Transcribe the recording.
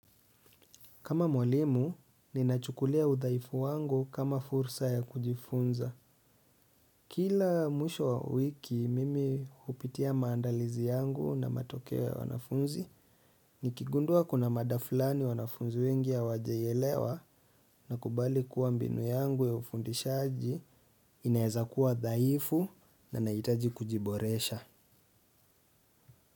Kama mwalimu, ninachukulia uthaifu wangu kama fursa ya kujifunza. Kila mwisho wa wiki, mimi upitia maandalizi yangu na matokewe ya wanafunzi. Nikigundua kuna mada fulani wanafunzi wengi hawajailewa nakubali kuwa mbinu yangu ya ufundishaji, inaeza kuwa thaifu na naitaji kujiboresha.